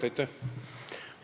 Aitäh!